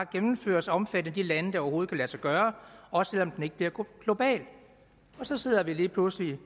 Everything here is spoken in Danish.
gennemføres og omfatte alle de lande det overhovedet kan lade sig gøre også selv om den ikke bliver global og så sidder vi lige pludselig